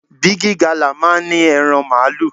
Bigi Gala máa ń ní ẹran Màálù.